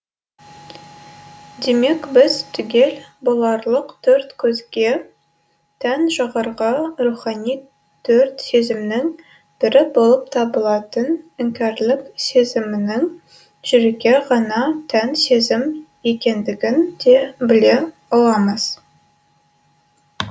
демек біз түгел боларлық төрт көзге тән жоғарғы рухани төрт сезімнің бірі болып табылатын іңкәрлік сезімінің жүрекке ғана тән сезім екендігін де біле аламыз